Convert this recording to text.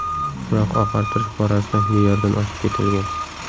Biroq oqartirish borasida me’yordan oshib ketilgan.